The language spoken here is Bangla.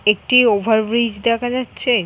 একটি ওভার ব্রিজ দেখা যাচ্ছে।